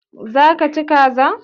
Za ka ci kaza?